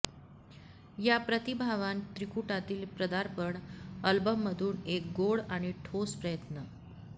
या प्रतिभावान त्रिकुटातील पदार्पण अल्बममधून एक गोड आणि ठोस प्रयत्न